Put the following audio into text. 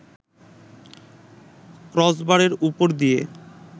ক্রসবারের ওপর দিয়ে